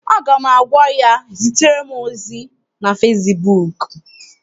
Aga m agwa ya, zitere m ozi na fesibuuku!